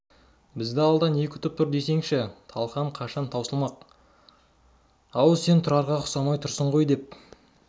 бізді алда не күтіп тұр десеңші талқан қашан таусылмақ ау сен тұрарға ұқсамай тұрсың ғой деп